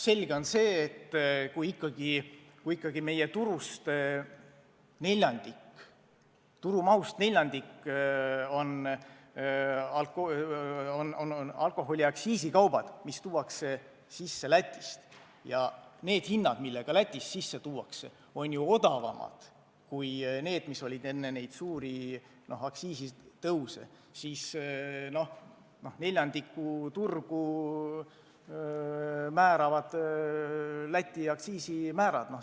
Selge on see, et kui ikkagi neljandiku alkoholituru mahust moodustab Lätist sissetoodav alkohol, siis neljandikku turgu määravad Läti aktsiisimäärad.